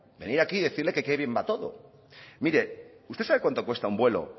venir aquí y decirle que bien va todo mire usted sabe cuánto cuesta un vuelo